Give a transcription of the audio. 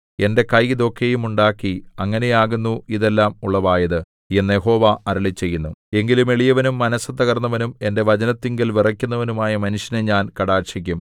എന്റെ കൈ ഇതൊക്കെയും ഉണ്ടാക്കി അങ്ങനെയാകുന്നു ഇതെല്ലാം ഉളവായത് എന്നു യഹോവ അരുളിച്ചെയ്യുന്നു എങ്കിലും എളിയവനും മനസ്സു തകർന്നവനും എന്റെ വചനത്തിങ്കൽ വിറയ്ക്കുന്നവനുമായ മനുഷ്യനെ ഞാൻ കടാക്ഷിക്കും